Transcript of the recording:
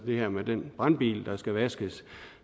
her med den brandbil der skal vaskes